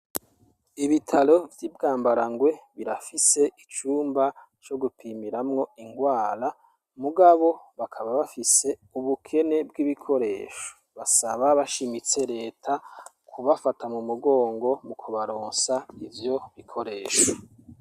Ibitaro vy'i Bwambarangwe, birafise icumba co gupimiramwo ingwara, mugabo, bakaba bafise ubukene bw'ibikoresho; basaba bashimitse leta, kubafata mu mugongo, mu kubaronsa ivyo bikoresho.